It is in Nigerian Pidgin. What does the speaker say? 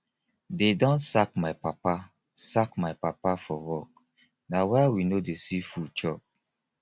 dey don sack my papa sack my papa for work na why we no dey see food chop